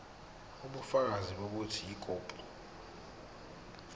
ubufakazi bokuthi ikhophi